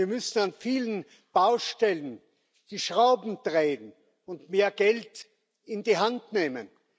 Wir müssen an vielen Baustellen die Schrauben drehen und mehr Geld in die Hand nehmen.